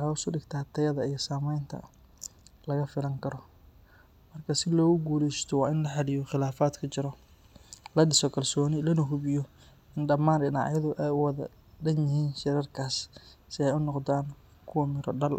hoos udiga sameenta, si aay unoqdaan kuwa mira dal.